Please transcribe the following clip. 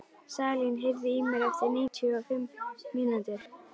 Salín, heyrðu í mér eftir níutíu og fimm mínútur.